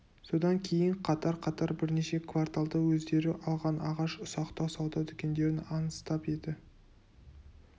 содан кейін қатар-қатар бірнеше кварталды өздері алған ағаш ұсақтау сауда дүкендерін аңыстап еді